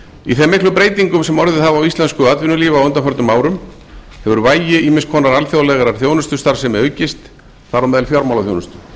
í þeim miklu breytingum sem orðið hafa á íslensku atvinnulífi á undanförnum árum hefur vægi ýmiss konar alþjóðlegrar þjónustustarfsemi aukist þar á meðal fjármálaþjónustu